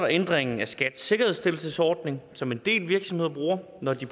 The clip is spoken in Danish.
ændringen af skats sikkerhedsstillelsesordning som en del virksomheder bruger når de